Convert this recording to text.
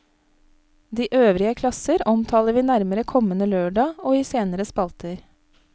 De øvrige klasser omtaler vi nærmere kommende lørdag og i senere spalter.